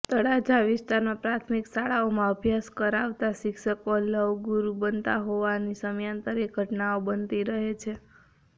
તળાજા વિસ્તારમાં પ્રાથમિક શાળાઓમાં અભ્યાસ કરાવતા શિક્ષકો લવગુરૃ બનતા હોવાની સમયાંતરે ઘટનાઓ બનતી રહી છે